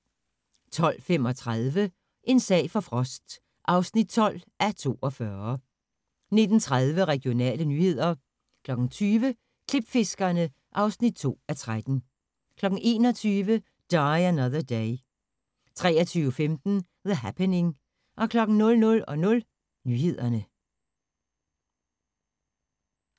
12:35: En sag for Frost (12:42) 19:30: Regionale nyheder 20:00: Klipfiskerne (2:13) 21:00: Die Another Day 23:15: The Happening 00:00: Nyhederne